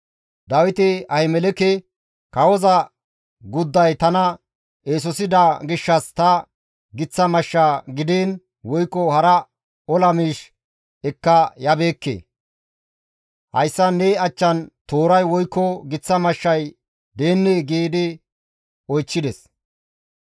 Dawiti Ahimeleke, «Kawoza gudday tana eesosida gishshas ta giththa mashsha gidiin woykko hara ola miish ekka yabeekke; hayssan ne achchan tooray woykko giththa mashshay deennee?» gidi oychchides.